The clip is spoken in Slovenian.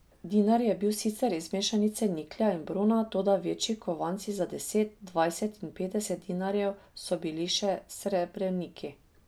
Dinar je bil sicer iz mešanice niklja in brona, toda večji kovanci za deset, dvajset in petdeset dinarjev so bili še srebrniki.